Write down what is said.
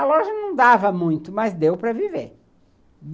A loja não dava muito, mas deu para viver.